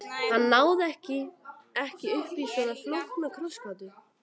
Hann náði ekki uppí svona flókna krossgátu.